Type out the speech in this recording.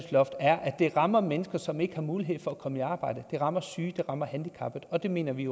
er at det rammer mennesker som ikke har mulighed for at komme i arbejde det rammer syge det rammer handicappede og det mener vi